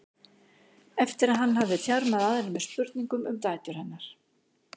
eftir að hann hafði þjarmað að henni með spurningum um dætur hennar.